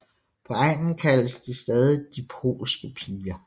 På egnen kaldes de stadig DE POLSKE PIGER